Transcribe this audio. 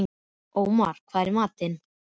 Ómar, hvað er í matinn?